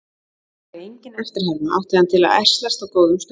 Þótt hann væri engin eftirherma átti hann til að ærslast á góðum stundum.